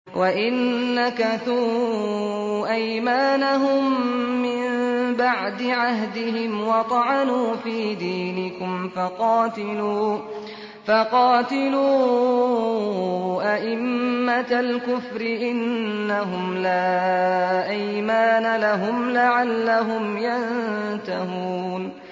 وَإِن نَّكَثُوا أَيْمَانَهُم مِّن بَعْدِ عَهْدِهِمْ وَطَعَنُوا فِي دِينِكُمْ فَقَاتِلُوا أَئِمَّةَ الْكُفْرِ ۙ إِنَّهُمْ لَا أَيْمَانَ لَهُمْ لَعَلَّهُمْ يَنتَهُونَ